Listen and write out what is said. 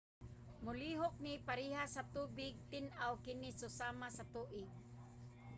"molihok ni parehas sa tubig. tin-aw kini susama sa tubig